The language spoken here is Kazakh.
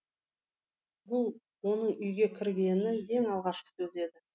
бұл оның үйге кіргені ең алғашқы сөзі еді